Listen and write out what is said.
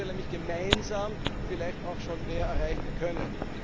Dann hätten wir nämlich gemeinsam vielleicht auch schon mehr erreichen können.